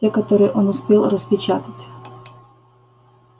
те которые он успел распечатать